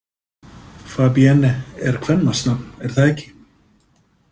Fabienne er kvenmannsnafn, er það ekki?